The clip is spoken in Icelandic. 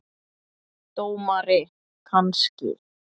Dómari kannski?